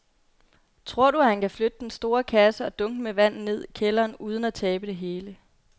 Tror du, at han kan flytte den store kasse og dunkene med vand ned i kælderen uden at tabe det hele?